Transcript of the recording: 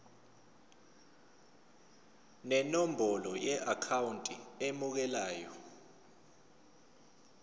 nenombolo yeakhawunti emukelayo